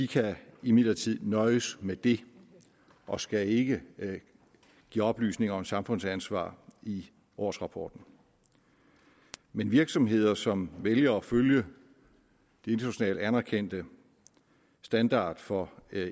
kan imidlertid nøjes med det og skal ikke give oplysninger om samfundsansvar i årsrapporten men virksomheder som vælger at følge den internationalt anerkendte standard for